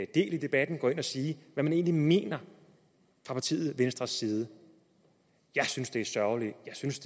i debatten og sige hvad man egentlig mener fra partiet venstres side jeg synes det er sørgeligt jeg synes